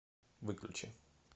выключи